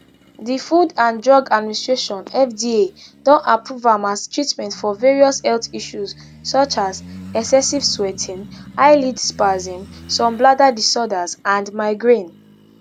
di food and drug administration fda don approve am as treatment for various health issues including excessive sweating eyelid spasm some bladder disorders and migraine